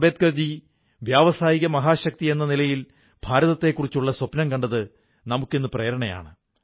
അംബേദ്കർ ജി വ്യാവസായിക മഹാശക്തിയെന്ന നിലയിൽ ഭാരതത്തെക്കുറിച്ചുള്ള സ്വപ്നം കണ്ടത് നമുക്കിന്ന് പ്രേരണയാണ്